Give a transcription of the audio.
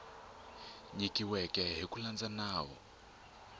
nyikiweke hi ku landza nawu